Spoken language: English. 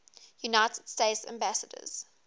united states ambassadors